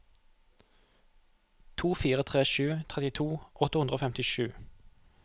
to fire tre sju trettito åtte hundre og femtisju